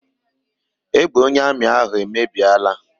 Egbe onye amị ahụ emebiela.